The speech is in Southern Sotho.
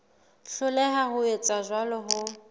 hloleha ho etsa jwalo ho